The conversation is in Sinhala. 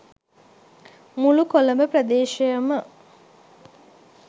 මුළු කොළඹ ප්‍රදේශයම